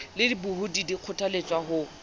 le dibohodi di kgothaletswa ho